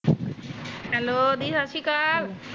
Hello ਦੀ ਸਤਿ ਸ਼੍ਰੀ ਅਕਾਲ।